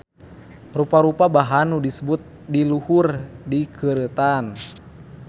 Rupa-rupa bahan nu disebut di luhur dikeureutan